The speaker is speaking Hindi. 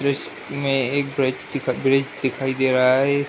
दृश्य में एक ब्रिज दिखा ब्रिज दिखाई दे रहा है। ए --